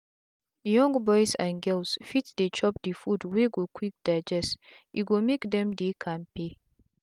young boys and girl fit dey chop the food wey go quick digeste go make them dey kampe.